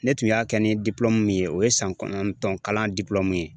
Ne tun y'a kɛ ni min ye o ye san kɔnɔntɔn kalan ye